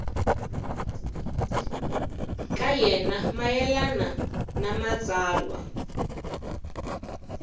ka yena mayelana na matsalwa